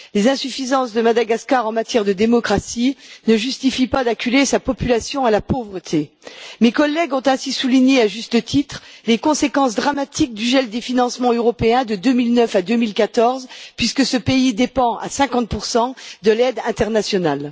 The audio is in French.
Les insuffisances de Madagascar en matière de démocratie ne justifient pas d'acculer sa population à la pauvreté. Mes collègues ont ainsi souligné, à juste titre, les conséquences dramatiques du gel des financements européens de 2009 à 2014, puisque ce pays dépend à 50 de l'aide internationale.